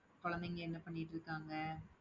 குழந்தைங்க என்ன பண்ணிட்டிருக்காங்க